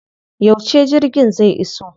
Yauce jirgin zai iso?